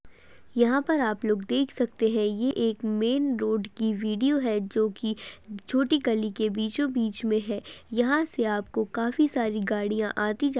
यहाँ पर आप लोग देख सकते है। ये एक मेन रोड की वीडियो है जो कि छोटी गली के बीचों बीच में है। यहाँ से आपको काफी सारी गाड़ियां आती जाती --